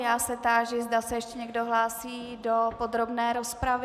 Já se táži, zda se ještě někdo hlásí do podrobné rozpravy.